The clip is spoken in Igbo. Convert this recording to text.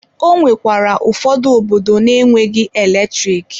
Ọ nwekwara ụfọdụ obodo na-enweghị eletrik.